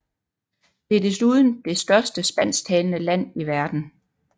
Det er desuden det største spansktalende land i verden